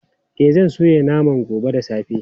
E, zan soya naman gobe da safe.